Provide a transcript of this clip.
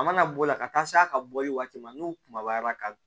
A mana bɔ o la ka taa s'a ka bɔli waati ma n'u kumabara ka